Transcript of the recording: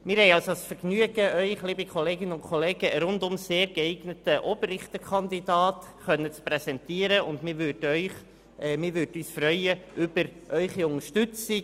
Wir haben also das Vergnügen, Ihnen einen rundum sehr geeigneten Oberrichterkandidaten präsentieren zu können, und wir freuen uns über Ihre Unterstützung.